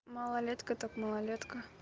малолетка так малолетка